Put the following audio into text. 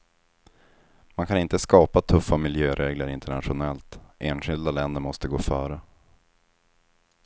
Man kan inte skapa tuffa miljöregler internationellt, enskilda länder måste gå före.